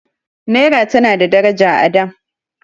Naira tana da daraja a da.